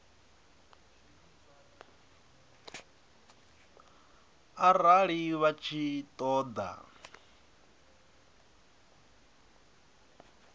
arali vha tshi ṱo ḓa